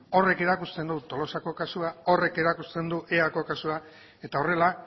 horrek erakusten du tolosako kasua horrek erakusten du eako kasua eta horrela